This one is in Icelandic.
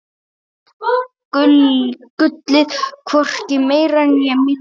Gullið, hvorki meira né minna.